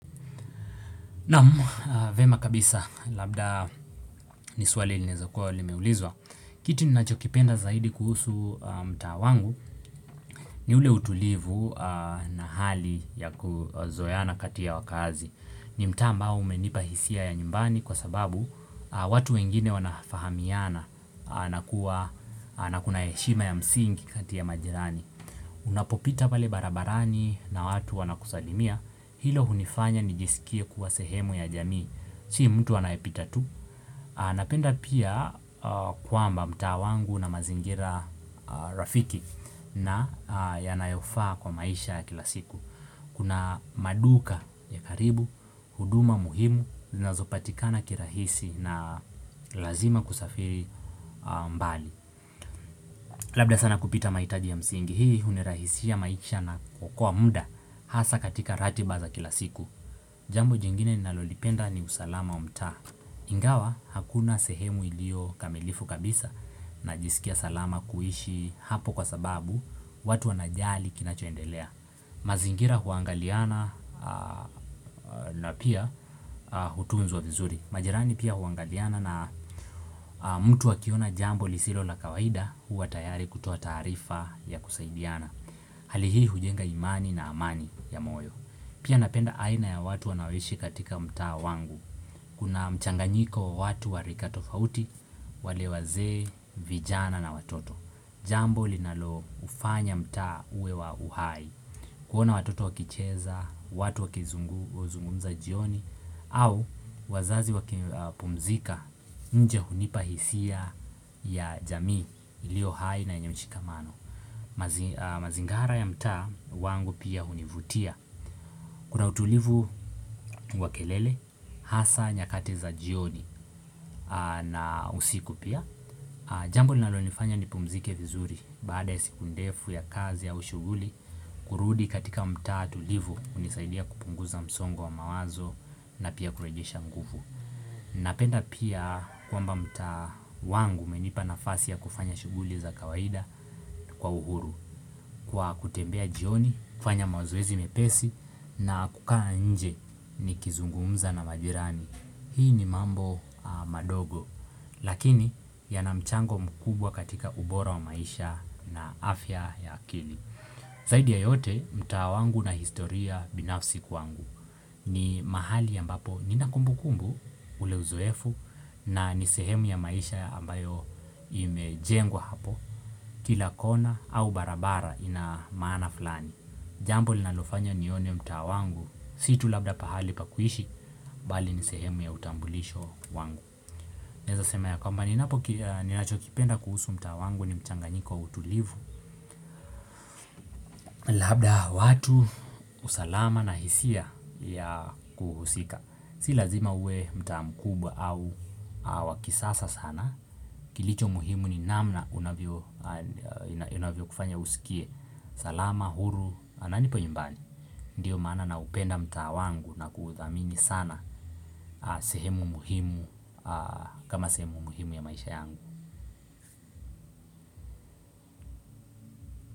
Naamu, vyema kabisa, labda niswali ilinaeza kuwa limeulizwa. Kitu ninachokipenda zaidi kuhusu mtaa wangu ni ule utulivu na hali ya kuzoeana kati ya wakaazi. Ni a mbao umenipa hisia ya nyumbani kwa sababu watu wengine wanafahamiana na kuna heshima ya msingi kati ya majirani. Unapopita pale barabarani na watu wana kusalimia, hilo hunifanya nijisikie kuwa sehemu ya jamii. Si mtu anayepita tu. Napenda pia kwamba mtaa wangu una mazingira rafiki na yanayofaa kwa maisha kila siku. Kuna maduka ya karibu, huduma muhimu, zinazopatikana kirahisi na lazima kusafiri mbali. Labda sana kupita maitaji ya msingi. Hii unirahisishia maisha na kuokoa muda hasa katika ratiba za kila siku. Jambo jingine ninalolipenda ni usalama wa mtaa. Ingawa hakuna sehemu ilio kamilifu kabisa najisikia salama kuishi hapo kwa sababu watu wanajali kinachoendelea. Mazingira huangaliana na pia hutunzwa vizuri. Majirani pia huangaliana na mtu akiona jambo lisilo la kawaida huwa tayari kutoa taarifa ya kusaidiana. Hali hii hujenga imani na amani ya moyo. Pia napenda aina ya watu wanaoishi katika mtaa wangu. Kuna mchanganyiko wa watu wa rika tofauti, wale wazee vijana na watoto Jambo linalo ufanya mtaa uwe wa uhai kuona watoto wakicheza, watu wakizungumza jioni au wazazi wakipumzika, nje hunipa hisia ya jamii ilio hai na yenye mshikamano mazingara ya mtaa wangu pia hunivutia Kuna utulivu wa kelele, hasa nyakati za jioni na usiku pia Jambo linalo nifanya nipumzike vizuri Baada ya siku ndefu ya kazi au shuguli kurudi katika mtaa tulivu hunisaidia kupunguza msongo wa mawazo na pia kuregesha nguvu Napenda pia kwamba mtaa wangu umenipa nafasi ya kufanya shuguli za kawaida kwa uhuru Kwa kutembea jioni, kufanya mazoezi mepesi na kukaa nje nikizungumza na majirani Hii ni mambo madogo Lakini yana mchango mkubwa katika ubora wa maisha na afya ya kili Zaidi ya yote mtaa wangu ina historia binafsi kwangu ni mahali ambapo ninakumbukumbu ule uzoefu na ni sehemu ya maisha ambayo imejengwa hapo Kila kona au barabara ina maana fulani Jambo linalofanya nione mtaa wangu Si tu labda pahali pa kuishi bali nisehemu ya utambulisho wangu Naeza sema ya kwamba ninapo ninacho kipenda kuhusu mtaa wangu ni mchanganyiko wa utulivu Labda watu usalama na hisia ya kuhusika Si lazima uwe mtaa mkubwa au wa kisasa sana Kilicho muhimu ni namna inavyo kufanya usikie salama, huru, na nipo nyumbani? Ndiyo maana na upenda mtaa wangu na kuhudhamini sana sehemu muhimu kama sehemu muhimu ya maisha yangu.